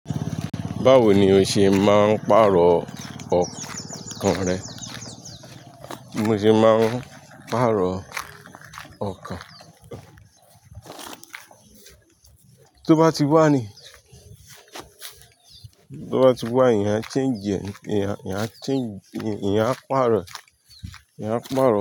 Báwo ni o ṣe máa ń pàrọ̀ ọkàn rẹ? Bi mo sì máa ń pàrọ̀ ọkàn. Tó bá ti wá ni, tó bá ti wá, eniyan change, ìyà, ìyà change, eniyàn a pàrọ̀, eniyàn pàrọ̀